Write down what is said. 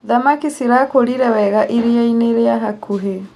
Thamaki cirakũrire wega iriainĩ rĩa hakuhĩ.